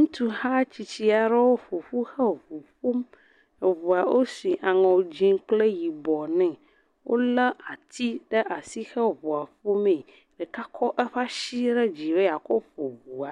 Ŋutsuha tsitsi aɖewo ƒo ƒu hewo ŋu ƒom. Eŋua, woshi aŋɔ dzɛ̃ kple yibɔ nɛ. Wolé atsi ɖaa shi he ŋua ƒomee. Ɖeka kɔ eƒe ashi re dzi be yeakɔ ƒo ŋua.